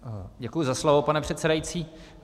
Děkuji za slovo, pane předsedající.